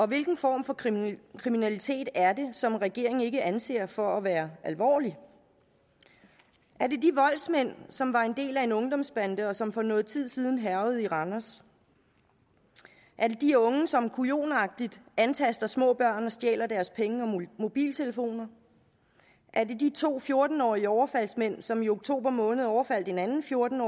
hvilken form for kriminalitet kriminalitet er det som regeringen ikke anser for at være alvorlig er det de voldsmænd som var en del af en ungdomsbande og som for noget tid siden hærgede i randers er det de unge som kujonagtigt antaster små børn og stjæler deres penge og mobiltelefoner er det de to fjorten årige overfaldsmænd som i oktober måned overfaldt en anden fjorten